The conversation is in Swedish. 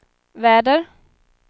väder